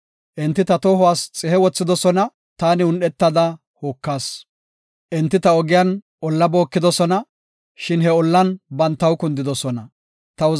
Enti ta tohuwas xihe wothidosona; taani un7etada hokas. Enti ta ogiyan olla bookidosona; shin he ollan bantaw kundidosona. Salaha